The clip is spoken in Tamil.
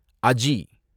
அஜி